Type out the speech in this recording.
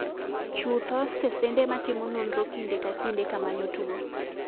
Chutho stesende ma timo nonro kinde ka kinde kamanyo tuo.